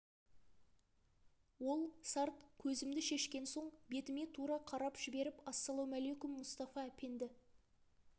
ол сарт көзімді шешкен соң бетіме тура қарап жіберіп ассалаумаликум мұстафа әпенді